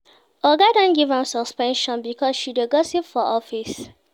Oga don give am suspension because she dey gossip for office.